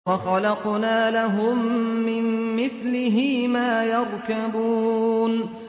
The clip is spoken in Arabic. وَخَلَقْنَا لَهُم مِّن مِّثْلِهِ مَا يَرْكَبُونَ